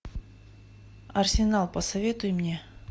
арсенал посоветуй мне